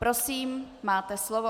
Prosím, máte slovo.